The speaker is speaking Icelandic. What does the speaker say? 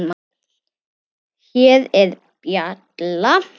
Hér er bjalla.